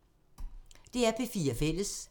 DR P4 Fælles